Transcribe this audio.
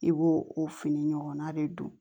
I b'o o fini ɲɔgɔnna de don